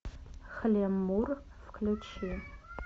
хлеммур включи